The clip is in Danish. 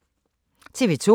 TV 2